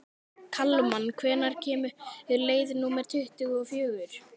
Kalman, hvenær kemur leið númer tuttugu og fjögur?